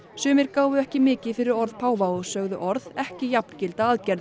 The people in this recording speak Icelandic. sumir gáfu ekki mikið fyrir orð páfa og sögðu orð ekki jafngilda aðgerðum